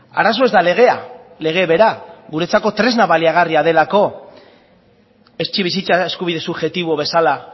arazoa ez da legea lege bera guretzako tresna baliagarria delako etxebizitza eskubide subjektibo bezala